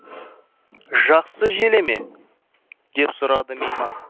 жақсы желе ме деп сұрады мейман